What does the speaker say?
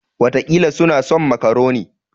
Wataƙila kuna son makaroni.